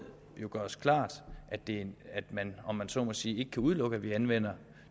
gøres klart at det om man så må sige ikke kan udelukkes at vi anvender